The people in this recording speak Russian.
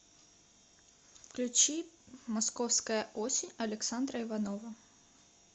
включи московская осень александра иванова